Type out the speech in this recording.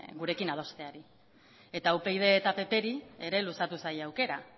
gurekin adosteari eta upyd eta ppri ere luzatu zaie aukera